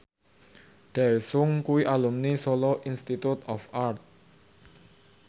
Daesung kuwi alumni Solo Institute of Art